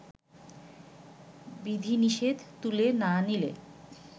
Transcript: বিধিনিষেধ তুলে না নিলে